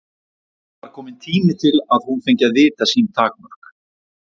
Það var kominn tími til að hún fengi að vita sín takmörk.